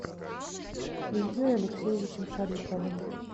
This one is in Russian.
ильей алексеевичем шариповым